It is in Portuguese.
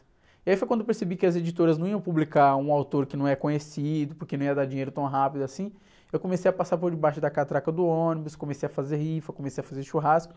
E aí foi quando eu percebi que as editoras não iam publicar um autor que não é conhecido, porque não ia dar dinheiro tão rápido assim, eu comecei a passar por debaixo da catraca do ônibus, comecei a fazer rifa, comecei a fazer churrasco.